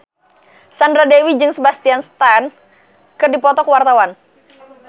Sandra Dewi jeung Sebastian Stan keur dipoto ku wartawan